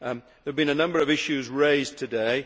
There have been a number of issues raised today.